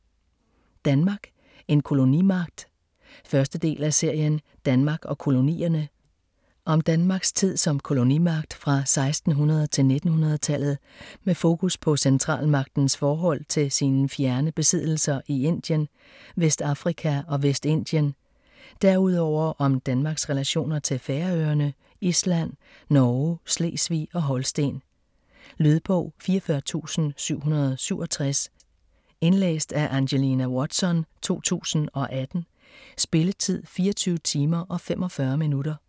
Danmark: en kolonimagt 1. del af serien Danmark og kolonierne. Om Danmarks tid som kolonimagt fra 1600 til 1900-tallet med fokus på centralmagtens forhold til sine fjerne besiddelser i Indien, Vestafrika og Vestindien. Derudover om Danmarks relationer til Færøerne, Island, Norge, Slesvig og Holsten. Lydbog 44767 Indlæst af Angelina Watson, 2018. Spilletid: 24 timer, 45 minutter.